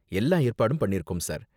எல்லா ஏற்பாடும் பண்ணிருக்கோம் சார்.